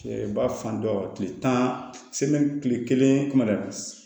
Ba fan dɔ tile tan tile kelen kɔnɔ